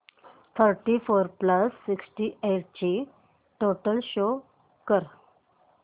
thirty four plus sixty eight ची total show कर